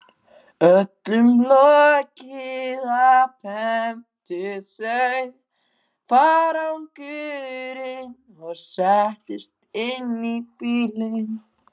Öllum lokið afhentu þau farangurinn og settust inn í bílinn.